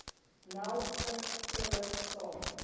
nel skriftelik saak